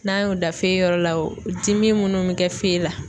N'an y'o da yɔrɔ la o dimi munnu mi kɛ la